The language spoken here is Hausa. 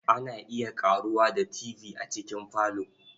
Ana iya ƙaruwa da Tv a cikin falo.